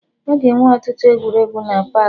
Aga enwe ọtụtụ egwuregwu na paakị